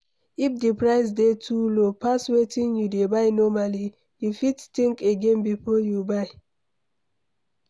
If di price dey too low pass wetin you dey buy normally, you fit think again before you buy